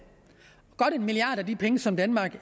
godt en milliard kroner af de penge som danmark